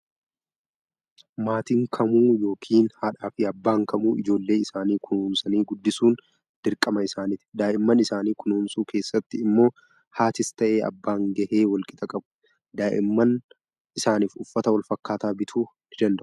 Maatiin kamuu yookiin haadhaa fi abbaan kamuu ijoollee isaanii kunuunsanii guddisuun dirqama isaaniiti. Daa'imman isaanii kunuunsuu keessatti immoo haatis ta'ee abbaan gahee walqixa qabu. Daa'imman isaaniif uffata walfakkaataa bituu ni danda'u.